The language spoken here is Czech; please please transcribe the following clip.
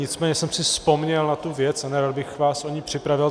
Nicméně jsem si vzpomněl na tu věc a nerad bych vás o ni připravil.